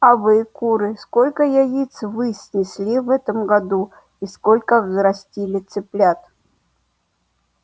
а вы куры сколько яиц вы снесли в этом году и сколько взрастили цыплят